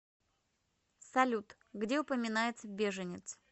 салют где упоминается беженец